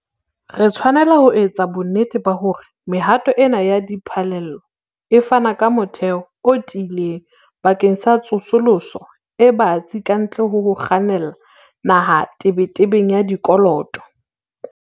Re tshwanela ho etsa bonnete ba hore mehato ena ya diphallelo e fana ka motheo o tiileng bakeng sa tsosoloso e batsi kantle ho ho kgannela naha tebetebeng ya dikoloto.